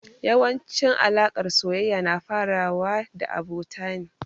Yawancin alaƙar soyayya na farawa da abota ne.